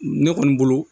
Ne kɔni bolo